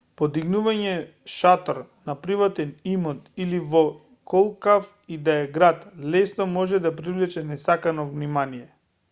подигнувањето шатор на приватен имот или во колкав и да е град лесно може да привлече несакано внимание